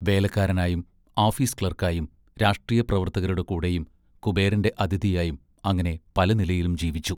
വേലക്കാരനായും office ക്ലാർക്കായും രാഷ്ട്രീയ പ്രവർത്തകരുടെ കൂടെയും കുബേരന്റെ അതിഥിയായും അങ്ങനെ പല നിലയിലും ജീവിച്ചു.